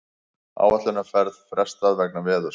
Áætlunarferð frestað vegna veðurs